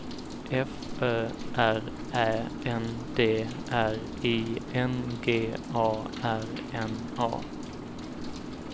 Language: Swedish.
F Ö R Ä N D R I N G A R N A